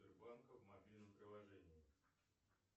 сбербанка в мобильном приложении